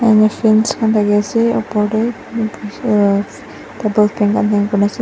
manu sales khan thaki ase upar teh aro table fan khan hang kuri na ase.